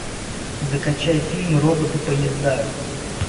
закачай фильм роботы поезда